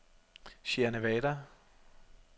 Sierra Nevada